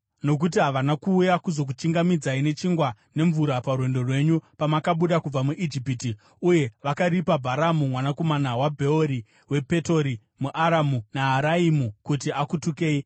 Nokuti havana kuuya kuzokuchingamidzai nechingwa nemvura parwendo rwenyu pamakabuda kubva muIjipiti, uye vakaripa Bharamu mwanakomana waBheori wePetori muAramu Naharaimu kuti akutukei.